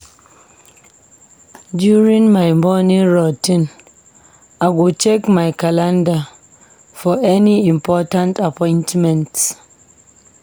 During my morning routine, I go check my calendar for any important appointments.